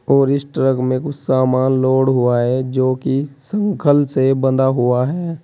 और इस ट्रक में कुछ सामान लोड हुआ है जो कि संकल से बंधा हुआ है।